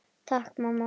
Takk mamma!